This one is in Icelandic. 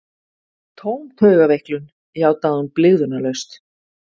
Tóm taugaveiklun, játaði hún blygðunarlaust.